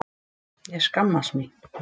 Ég skammast mín!